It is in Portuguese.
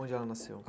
Onde ela nasceu?